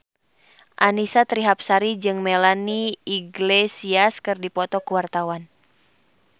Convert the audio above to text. Annisa Trihapsari jeung Melanie Iglesias keur dipoto ku wartawan